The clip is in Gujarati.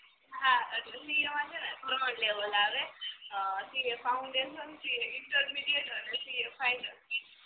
હ સીએ માં સે ને ત્રણ લેવલ આવ CA foundation CA intermediate CA final